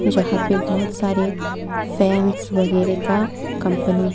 जहां पे बहुत सारे फैंस वगैरह का कंपनी है।